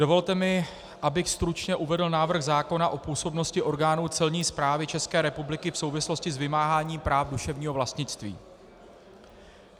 Dovolte mi, abych stručně uvedl návrh zákona o působnosti orgánů Celní správy České republiky v souvislosti s vymáháním práv duševního vlastnictví.